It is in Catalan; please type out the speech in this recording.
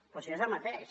però si és el mateix